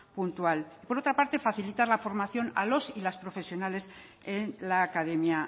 puntual y por otra parte facilitar la formación a los y las profesiones en la academia